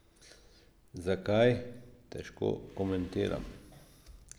Zakaj, težko komentiram.